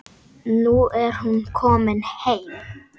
Nú er hún komin heim.